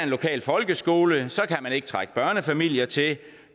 lokal folkeskole kan man ikke trække børnefamilier til